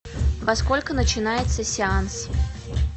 во сколько начинается сеанс